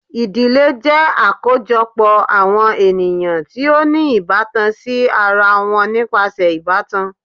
Idile jẹ akojọpọ awọn eniyan ti o ni ibatan si ara wọn nipasẹ ibatan